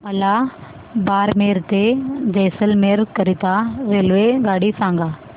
मला बारमेर ते जैसलमेर करीता रेल्वेगाडी सांगा